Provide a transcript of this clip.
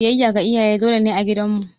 Biyayya ga iyaye dole ne a gidan mu.